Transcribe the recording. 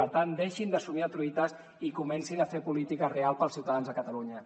per tant deixin de somniar truites i comencin a fer política real per als ciutadans de catalunya